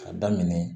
A daminɛ